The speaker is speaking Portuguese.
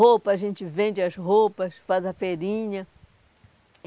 Roupa, a gente vende as roupas, faz a feirinha.